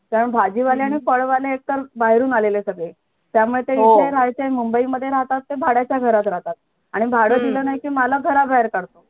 कारण भाजी वाल्यांना पाळवायला एकतर बाहेरून आलेले सगळे त्यामध्ये इथे राहायचे mumbai मधे राहतात तर भाड्याच्या घरात राहतात आणि भाड दिल नाही की मालक घराबाहेर काढतो